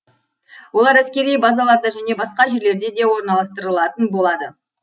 олар әскери базаларда және басқа жерлерде де орналастырылатын болады